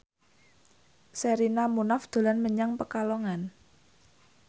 Sherina Munaf dolan menyang Pekalongan